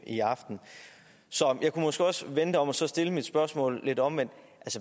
i aften så jeg kunne måske også vende det om og så stille mit spørgsmål lidt omvendt